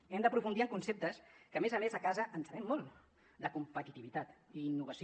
hem d’aprofundir en conceptes que a més a més a casa en sabem molt de competitivitat i innovació